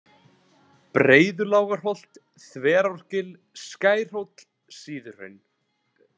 Breiðulágarholt, Þverágil, Skærhóll, Síðuhraun